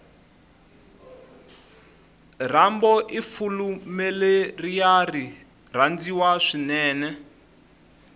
rambo ifulimuleriari rhandziwa swinene